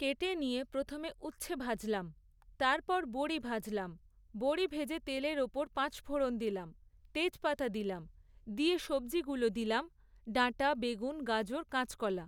কেটে নিয়ে প্রথমে উচ্ছে ভাজলাম, তারপর বড়ি ভাজলাম, বড়ি ভেজে তেলের ওপর পাঁচফোড়ন দিলাম, তেজপাতা দিলাম, দিয়ে সবজিগুলো দিলাম ডাঁটা, বেগুন, গাজর, কাঁচকলা।